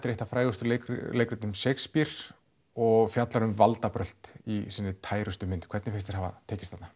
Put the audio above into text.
er eitt af frægustu leikrtum Shakespears og fjallar um valdabrölt í sinni mynd hvernig finnst þér hafa tekist þarna